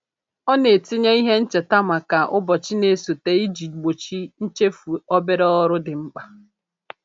Ọ na-etinye ihe ncheta maka ụbọchị na-esote iji gbochi nchefu obere ọrụ dị mkpa.